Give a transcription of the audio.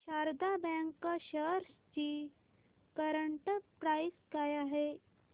Sharda bank shares ची current price काय आहे